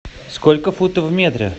сколько футов в метре